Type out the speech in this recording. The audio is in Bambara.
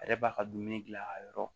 A yɛrɛ b'a ka dumuni gilan a yɔrɔ